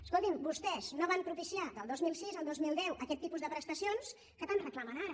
escolti’m vostès no van propiciar del dos mil sis al dos mil deu aquest tipus de prestacions que tant reclamen ara